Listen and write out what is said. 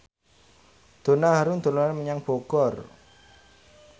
Donna Harun dolan menyang Bogor